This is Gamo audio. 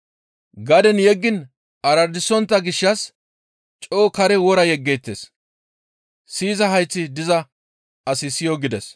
Gaden yeggiin aradisontta gishshas coo kare wora yegettees; siyiza hayththi diza asi siyo!» gides.